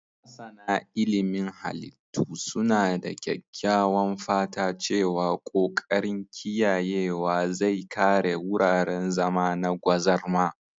Masana ilimin halittu suna da kyakkyawan fata cewa ƙoƙarin kiyayewa zai kare wuraren zama na gwazarma